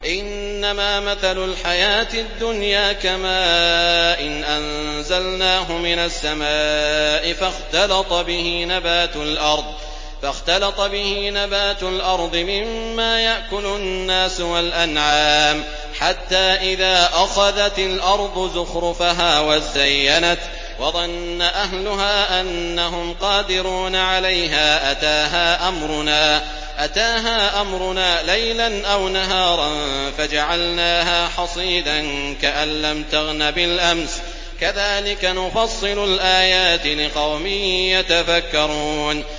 إِنَّمَا مَثَلُ الْحَيَاةِ الدُّنْيَا كَمَاءٍ أَنزَلْنَاهُ مِنَ السَّمَاءِ فَاخْتَلَطَ بِهِ نَبَاتُ الْأَرْضِ مِمَّا يَأْكُلُ النَّاسُ وَالْأَنْعَامُ حَتَّىٰ إِذَا أَخَذَتِ الْأَرْضُ زُخْرُفَهَا وَازَّيَّنَتْ وَظَنَّ أَهْلُهَا أَنَّهُمْ قَادِرُونَ عَلَيْهَا أَتَاهَا أَمْرُنَا لَيْلًا أَوْ نَهَارًا فَجَعَلْنَاهَا حَصِيدًا كَأَن لَّمْ تَغْنَ بِالْأَمْسِ ۚ كَذَٰلِكَ نُفَصِّلُ الْآيَاتِ لِقَوْمٍ يَتَفَكَّرُونَ